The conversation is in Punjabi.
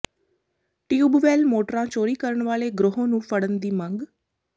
ਟਿਊਬਵੈਲ ਮੋਟਰਾਂ ਚੋਰੀ ਕਰਨ ਵਾਲੇ ਗਰੋਹ ਨੰੂ ਫੜਨ ਦੀ ਮੰਗ